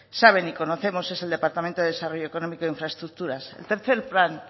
saben y conocemos es el departamento de desarrollo económico e infraestructuras el tercero plan